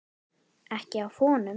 Ekki af honum.